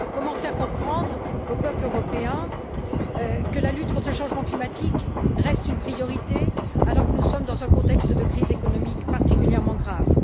Comment faire comprendre aux peuples européens que la lutte contre le changement climatique reste une priorité alors que nous sommes dans un contexte de crise économique particulièrement grave?